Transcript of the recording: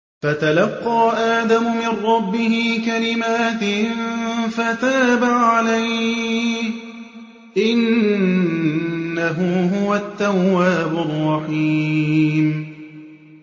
فَتَلَقَّىٰ آدَمُ مِن رَّبِّهِ كَلِمَاتٍ فَتَابَ عَلَيْهِ ۚ إِنَّهُ هُوَ التَّوَّابُ الرَّحِيمُ